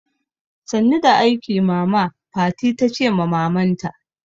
Sannu da aiki mama, fati tace ma maman ta